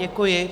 Děkuji.